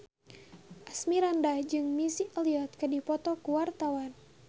Asmirandah jeung Missy Elliott keur dipoto ku wartawan